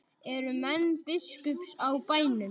Eru menn biskups á bænum?